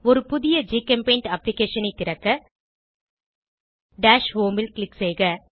ஒரு புதிய ஜிகெம்பெய்ண்ட் அப்ளிகேஷனைத் திறக்க டாஷ் ஹோம் ல் க்ளிக் செய்க